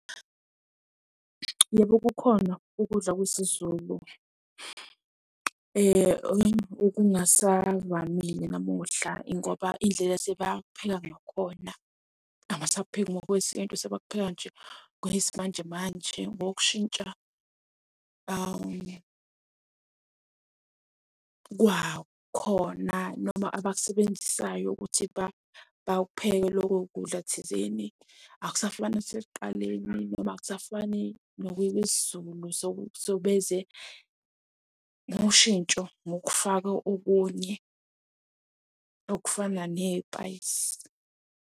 Yebo kukhona ukudla kwesiZulu okungasavamile namuhla ngoba indlela esebapheka ngakhona abasapheki ngokwesintu sebakupheka nje ngokwesimanjemanje. Ngokushintsha kwakhona noma abakusebenzisayo ukuthi bakupheke lokho kudla thizeni. Akusafani nasekuqaleni noma akusafani nokwesiZulu so, beze noshintsho ngokufaka okunye okufana ney'payisi.